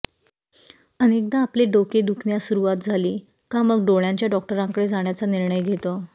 अनेकदा आपले डोके दुखण्यास सुरुवात झाली का मग डोळ्यांच्या डॉक्टरांकडे जाण्याचा निर्णय घेतो